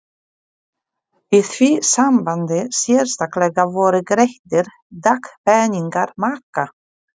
Í því sambandi sérstaklega voru greiddir dagpeningar maka?